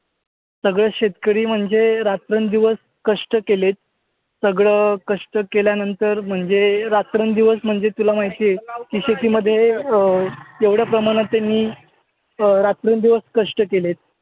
सगळेच शेतकरी म्हणजे रात्रंदिवस कष्ट केलेत. सगळं कष्ट केल्यानंतर म्हणजे रात्रंदिवस म्हणजे तुला माहीत आहे की शेती मध्ये अं एवढ्या प्रमाणात त्यांनी अं रात्र न दिवस कष्ट केलेत.